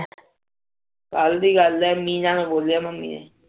ਕੱਲ ਦੀ ਗੱਲ ਆ ਮੀਨਾ ਨੂ ਬੋਲਿਆ ਮੰਮੀ ਨੇ